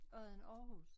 Odden Aarhus